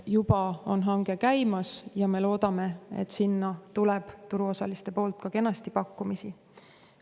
Juba on hange käimas ja me loodame, et sinna tuleb turuosaliste poolt ka kenasti pakkumisi.